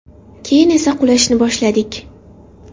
Keyin esa qulashni boshladik”.